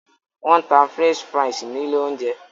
Wọn tá french fries ní ilé oúnjẹ